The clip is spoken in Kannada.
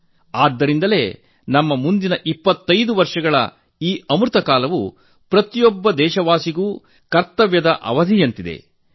ಆದ್ದರಿಂದಲೇ ನಮ್ಮ ಮುಂದಿನ 25 ವರ್ಷಗಳ ಈ ಅಮೃತ ಕಾಲವು ಪ್ರತಿಯೊಬ್ಬ ದೇಶವಾಸಿಯೂ ತಮ್ಮ ಕರ್ತವ್ಯ ನಿರ್ವಹಿಸಬೇಕಾದ ಅವಧಿಯಾಗಿದೆ